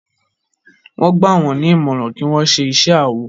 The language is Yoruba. Wón gbà wón ní ìmọràn kí wón ṣe iṣé awọ